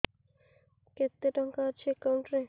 କେତେ ଟଙ୍କା ଅଛି ଏକାଉଣ୍ଟ୍ ରେ